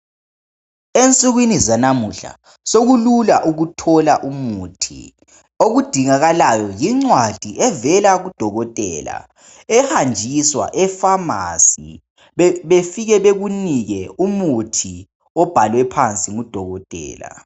Emsukwini zalamuhla soku lula ukuthola umuthi okudingakalayo yincwadi evela kudokotela ehanjiswa ephamacy befike bekunike umuthi obhalwe phansi ngudokotela.